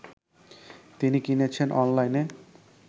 তিনি কিনেছেন অনলাইনে